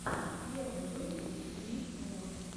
первый выпуск ли нур